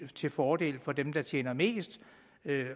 til fordel for dem der tjener mest